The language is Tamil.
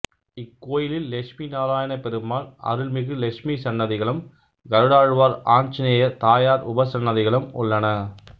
இக்கோயிலில் லெட்சுமிநாரயணபெருமாள் அரள்மிகு லெட்சுமி சன்னதிகளும் கருடாழ்வார் ஆஞ்சநேயர் தாயார் உபசன்னதிகளும் உள்ளன